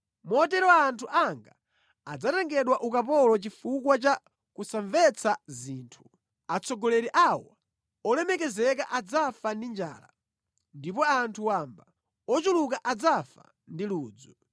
Motero anthu anga adzatengedwa ukapolo chifukwa cha kusamvetsa zinthu; atsogoleri awo olemekezeka adzafa ndi njala, ndipo anthu wamba ochuluka adzafa ndi ludzu.